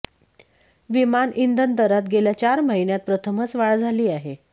विमान इंधन दरात गेल्या चार महिन्यांत प्रथमच वाढ झाली आहे